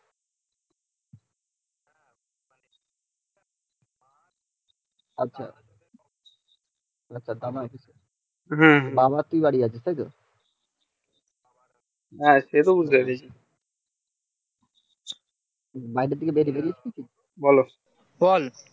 আচ্ছা আচ্ছা